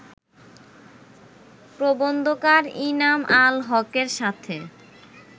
প্রবন্ধকার ইনাম আল হকের সাথে